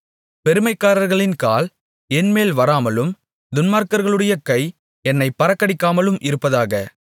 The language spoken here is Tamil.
பெருமைக்காரர்களின் கால் என்மேல் வராமலும் துன்மார்க்கர்களுடைய கை என்னைப் பறக்கடிக்காமலும் இருப்பதாக